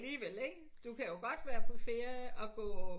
Men alligevel ikke du kan jo godt være på ferie og gå